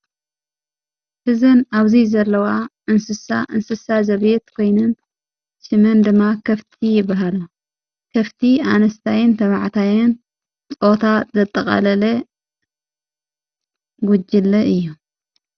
ሕዘን ኣብዙይ ዘለውኣ ንስሳ እንስሳ ዘቢት ኮይንን ስመን ድማ ከፍቲ ይበሃሮ ከፍቲ ኣንስታየን ተባዕታየን ፆታ ዘጠቓለለ ጕጅለ እዩ።